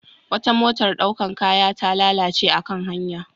Wata motar ɗaukan kaya ta lalace a kan hanya.